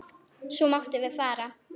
Svo máttum við fara.